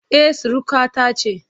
E, surukata ce